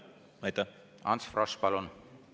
Ants Frosch, palun!